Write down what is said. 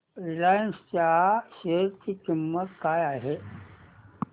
Reliance च्या share ची किंमत काय आहे